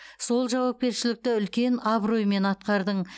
сол жауапкершілікті үлкен абыроймен атқардың